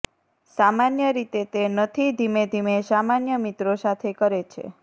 સામાન્ય રીતે તે નથી ધીમે ધીમે સામાન્ય મિત્રો સાથે કરે છે